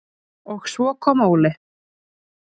Og svo kom Óli.